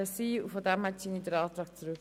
Daher ziehe ich meinen Antrag zurück.